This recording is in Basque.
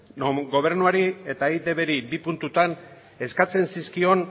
gobernuari eta eitbri bi puntutan eskatzen zizkion